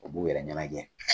U b'u yɛrɛ ɲɛnajɛ